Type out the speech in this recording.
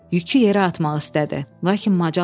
Yükü yerə atmaq istədi, lakin macal tapmadı.